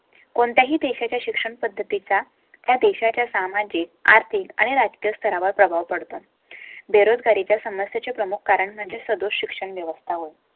कोणत्याही देशाच्या शिक्षणपद्धती चा, त्या देशाच्या सामाजिक, आर्थिक आणि राजकीय स्तरावर प्रभाव पडतो. बेरोजगारी च्या समस्ये चे प्रमुख कारण म्हणजे सध्या शिक्षण व्यवस्था होईल.